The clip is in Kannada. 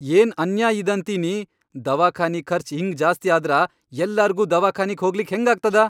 ಏನ್ ಅನ್ಯಾಯ್ ಇದಂತೀನಿ, ದವಾಖಾನಿ ಖರ್ಚ್ ಹಿಂಗ್ ಜಾಸ್ತಿ ಆದ್ರ ಯಲ್ಲಾರ್ಗೂ ದವಾಖಾನಿಗ್ ಹೋಗ್ಲಿಕ್ಕ ಹೆಂಗಾಗ್ತದ.